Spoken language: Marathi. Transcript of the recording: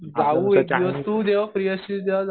खाऊ एक दिवस तु जेव्हा फ्री असशील तेव्हा जाऊ.